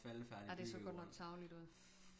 Ja det så godt nok tarveligt ud